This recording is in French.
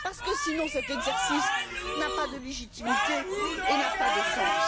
Autrement, cet exercice n'a pas de légitimité et n'a pas de sens.